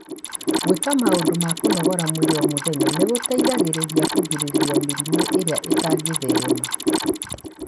Gwĩka maũndũ ma kũnogora mwĩrĩ o mũthenya nĩ gũteithagia kũgirĩrĩria mĩrimũ ĩrĩa ĩtangĩtherema.